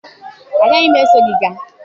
Agaghị m eso gị gaa.